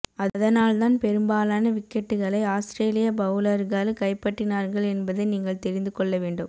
அதனால் தான் பெரும்பாலான விக்கெட்டுகளை ஆஸ்திரேலிய பவுலர்கள் கைப்பற்றினார்கள் என்பதை நீங்கள் தெரிந்து கொள்ள வேண்டும்